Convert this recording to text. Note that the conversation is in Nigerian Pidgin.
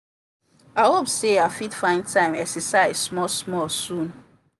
i hope say i fit find time exercise small small soon.